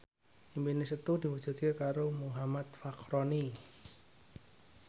impine Setu diwujudke karo Muhammad Fachroni